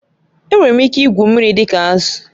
Enwere m ike igwu mmiri dị ka azụ